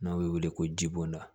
N'a bɛ wele ko jiboda